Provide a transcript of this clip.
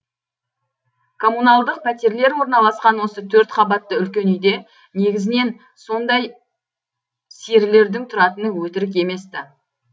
коммуналдық пәтерлер орналасқан осы төрт қабатты үлкен үйде негізінен сондай серілердің тұратыны өтірік емес ті